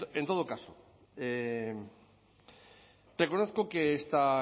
en todo caso reconozco que esta